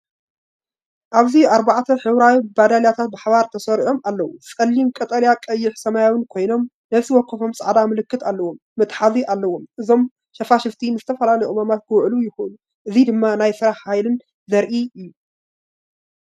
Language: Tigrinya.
ኣብዚ ኣርባዕተ ሕብራዊ ባደልያታት ብሓባር ተሰሪዖም ኣለዉ። ጸሊም፡ ቀጠልያ፡ ቀይሕን ሰማያውን ኮይኖም፡ ነፍሲ ወከፎም ጻዕዳ ምልክት ዘለዎ መትሓዚ ኣለዎም። እዞም ሸፋሽፍቲ ንዝተፈላለዩ ዕማማት ክውዕሉ ይኽእሉ። እዚ ድማ ናይ ስራሕን ሓይልን እዩ ዘርኢ እዩ።